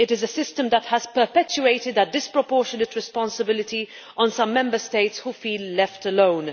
It is a system that has perpetuated a disproportionate responsibility on some Member States which feel left alone.